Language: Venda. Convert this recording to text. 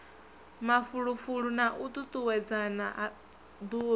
mafulufulo na u tutuwedzana duvha